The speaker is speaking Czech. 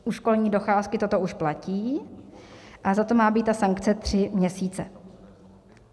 U školní docházky toto už platí a za to má být ta sankce tři měsíce.